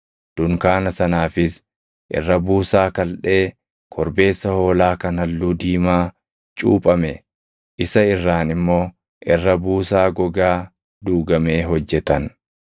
Dunkaana sanaafis irra buusaa kaldhee korbeessa hoolaa kan halluu diimaa cuuphame, isa irraan immoo irra buusaa gogaa duugamee hojjetan.